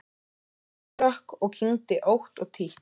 Hún var orðin klökk og kyngdi ótt og títt.